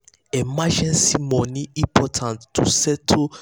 emergency money important to settle surprise bills like car wahala or hospital money.